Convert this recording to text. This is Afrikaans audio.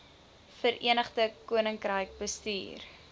verenigde koninkryk bestuur